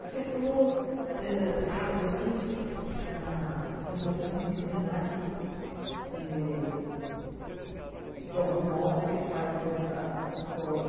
Você falou eh rapidamente da do momento em que o Senac, eh de algum modo, fez parte dessa história.